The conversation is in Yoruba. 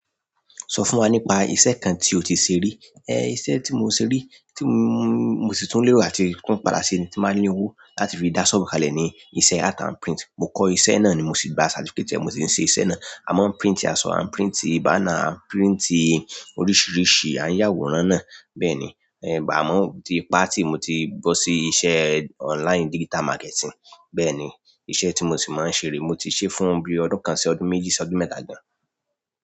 Sọ fún wa nípa iṣẹ́ kan tí o ti ṣe rí. Eh, iṣẹ́ tí mo ṣe rí, tí mo, mo sì tún lérò áti tun padà ṣi ni tí bá ní owó láti fi dá ṣọ́obù kalẹ̀ ni iṣẹ́ art and print. Mo kọ́ iṣẹ́ náà ni mo sì gba certificate. Mo sì ń ṣe iṣẹ́ náà. A máa ń print aṣọ, a ń print banner, a ń print oríṣiríṣi, a ń yàwórán náà bẹ́ẹ̀ ni. Ẹ̀, àmọ́ mo tí paa ti. Mo ti bọ́ sí iṣẹ́ online digital marketing. Bẹ́ẹ̀ ni, iṣẹ́ tí mo sì máa ń ṣe re. Mo ti ṣe é fún bíi ọdún kan sí ọdún méjì sí ọdún mẹ́ta gan.